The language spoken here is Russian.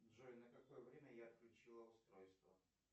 джой на какое время я отключила устройство